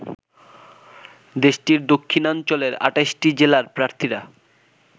দেশটির দক্ষিণাঞ্চলের ২৮টি জেলার প্রার্থীরা